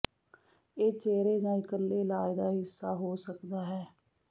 ਇਹ ਚਿਹਰੇ ਜਾਂ ਇਕੱਲੇ ਇਲਾਜ ਦਾ ਹਿੱਸਾ ਹੋ ਸਕਦਾ ਹੈ